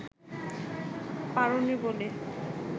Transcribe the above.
পারোনি বলে